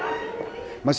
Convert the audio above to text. maður